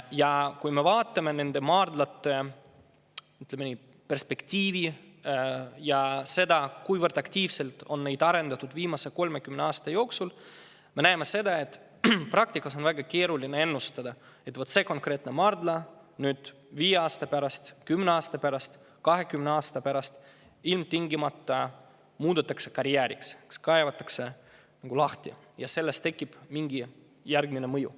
Ja kui me vaatame nende maardlate, ütleme, perspektiivi ja seda, kuivõrd aktiivselt on neid arendatud viimase 30 aasta jooksul, siis me näeme, et praktikas on väga keeruline ennustada, et näiteks see konkreetne maardla 5, 10 või 20 aasta pärast ilmtingimata muudetakse karjääriks, see kaevatakse lahti ja sellest tekib mingi järgmine mõju.